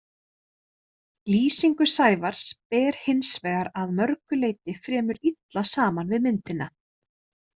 Lýsingu Sævars ber hins vegar að mörgu leyti fremur illa saman við myndina.